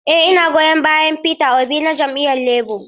Eh ina goyon bayan Peter Obi na jam'iyyar Labour.